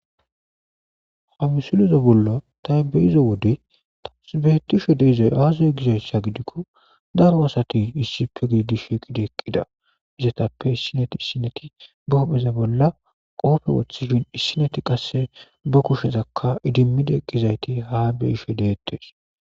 Ha misileza bolla ta be'iza wode tas betishe dizay aze gizaysa gidikon daro asat issipe gidid shiqid eqida . Izzetappe isinet issineti be hu'eza bolla qope wothid be kushezaka idimid eqidayt ha beyishe detes.